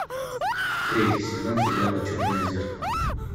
третий сезон сериала черное зеркало